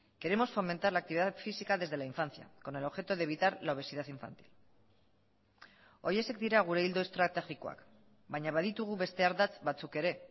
queremos fomentar la actividad física desde la infancia con el objeto de evitar la obesidad infantil horiexek dira gure ildo estrategikoak baina baditugu beste ardatz batzuk ere